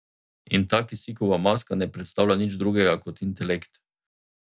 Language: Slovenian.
In ta kisikova maska ne predstavlja nič drugega kot intelekt.